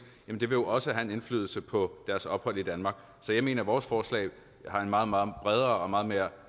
ville det jo også have en indflydelse på deres ophold i danmark så jeg mener at vores forslag har en meget meget bredere og meget mere